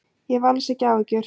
Ég hef alls ekki áhyggjur.